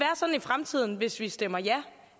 sådan i fremtiden hvis vi stemmer ja